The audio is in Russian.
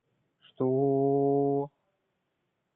что